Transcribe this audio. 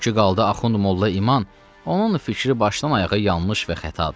O ki qaldı Axund Molla İman, onun fikri başdan-ayağa yanlış və xətadır.